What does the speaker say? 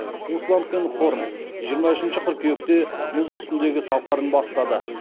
усланд пен хорн жиырма үшінші қыркүйекте мұз үстіндегі сапарын бастады